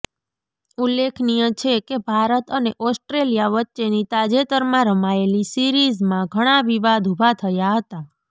ઉલ્લેખનીય છે કે ભારત અને ઓસ્ટ્રેલિયા વચ્ચેની તાજેતરમાં રમાયેલી સીરિઝમાં ઘણાં વિવાદ ઉભા થયા હતા